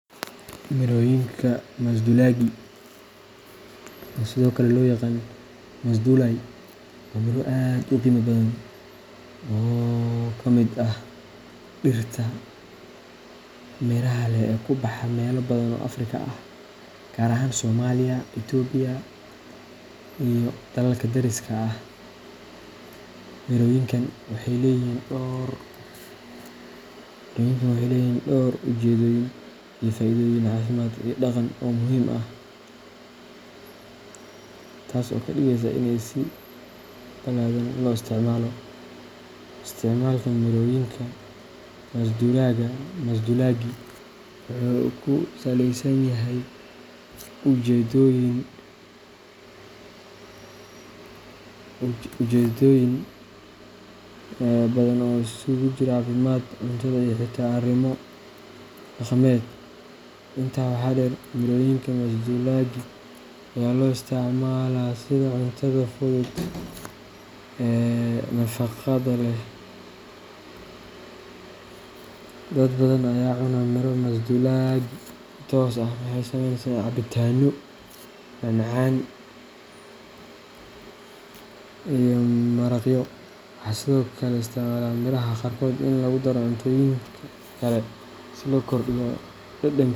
Mirooyinka masduulaagii, oo sidoo kale loo yaqaan “masduulaay,” waa miro aad u qiimo badan oo ka mid ah dhirta miraha leh ee ku baxa meelo badan oo Afrika ah, gaar ahaan Soomaaliya, Itoobiya, iyo dalalka deriska ah. Mirooyinkan waxay leeyihiin dhowr ujeedooyin iyo faa’iidooyin caafimaad iyo dhaqan oo muhiim ah, taas oo ka dhigaysa inay si balaadhan loo isticmaalo. Isticmaalka mirooyinka masduulaagii wuxuu ku saleysan yahay ujeedooyin badan oo isugu jira caafimaad, cuntada, iyo xitaa arrimo dhaqameed. Intaa waxaa dheer, mirooyinka masduulaagii ayaa loo isticmaalaa sidii cuntada fudud ee nafaqada leh. Dad badan ayaa cuna miro masduulaagii si toos ah ama waxay ka sameeyaan cabitaano, macmacaan, ama maraqyo. Waxaa sidoo kale laga isticmaalaa miiraha qaarkood in lagu daro cuntooyinka kale si loo kordhiyo dhadhanka.